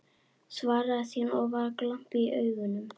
Svaraði síðan, og var glampi í augunum: